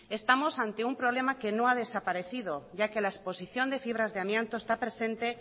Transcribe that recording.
estamos ante un problema que no ha desaparecido ya que la exposición de fibras de amianto está presente